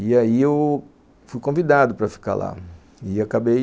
E aí eu fui convidado para ficar lá, e acabei